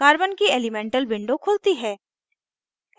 carbon की elemental window खुलती है